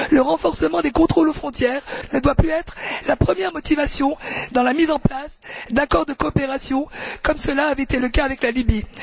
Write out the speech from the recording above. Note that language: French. Le renforcement des contrôles aux frontières ne doit plus être la première motivation dans la mise en place d'accords de coopération, comme cela avait été le cas avec la Libye.